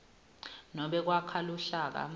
nobe kwakha luhlaka